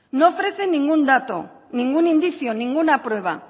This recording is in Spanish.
no ofrece ningún dato ningún indicio ninguna prueba